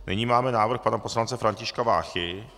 Nyní máme návrh pana poslance Františka Váchy.